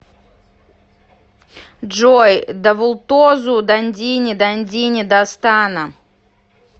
джой давултозу дандини дандини дастана